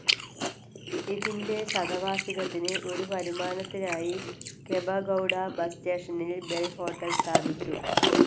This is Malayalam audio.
ഇതിൻ്റെ ശതവാർഷികത്തിന് ഒരു വരുമാനത്തിനായി കെമ്പഗൌഡ ബസ് സ്റ്റേഷനിൽ ബെൽ ഹോട്ടൽ സ്ഥാപിച്ചു.